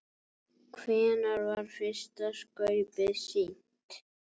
Hvenær var fyrsta skaupið sýnt?